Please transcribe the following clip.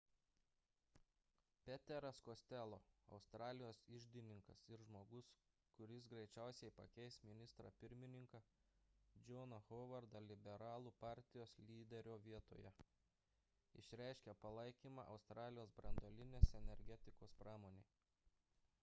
peteras costello australijos iždininkas ir žmogus kuris greičiausiai pakeis ministrą pirmininką johną howardą liberalų partijos lyderio vietoje išreiškė palaikymą australijos branduolinės energetikos pramonei